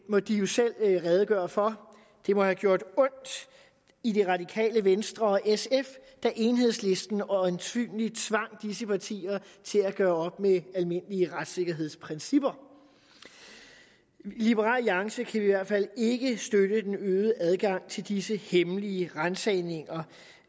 må de jo selv redegøre for det må have gjort ondt i det radikale venstre og sf da enhedslisten øjensynlig tvang disse partier til at gøre op med almindelige retssikkerhedsprincipper i liberal alliance kan vi i hvert fald ikke støtte den øgede adgang til disse hemmelige ransagninger